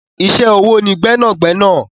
Iṣẹ́ ọwọ́ ni gbẹ́nàgbẹ́nà.